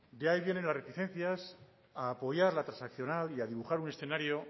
de ahí vienen las reticencias a apoyar la transaccional y a dibujar un escenario